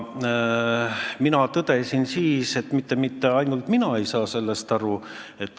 Mina tõdesin siis, et mitte ainult mina ei saanud sellest aru.